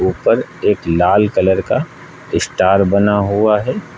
ऊपर एक लाल कलर का स्टार बना हुआ है।